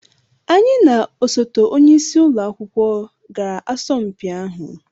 anyị na osote onye isi ụlọ akwụkwọ gara asọmpi ahụ